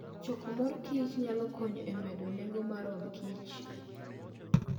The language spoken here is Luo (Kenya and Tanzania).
Choko mor kich nyalo konyo e medo nengo mar odkich.